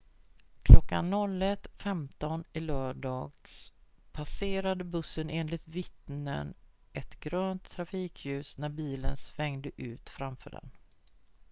klockan 01.15 i lördags passerade bussen enligt vittnen ett grönt trafikljus när bilen svängde ut framför den